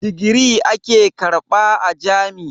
Digiri ake karɓa a jam'i.